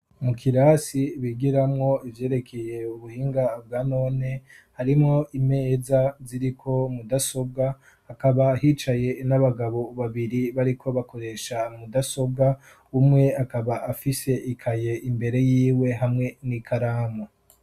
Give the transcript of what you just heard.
Mu kirasi bigiranwo ivyerekeye ubuhinga bwa none ,harimo imeza ziri ko mudasobwa akaba hicaye n'abagabo babiri bari ko bakoresha mudasobwa umwe akaba afishe ikaye imbere yiwe hamwe n'ikaramu.